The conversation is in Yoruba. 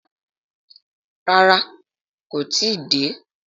Rárá, kó tí ì dé.